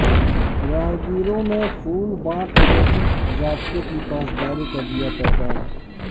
راہگےروں مےں پھول بانٹ ٹرےفک ضابطے کی پاسداری کادیا پےغام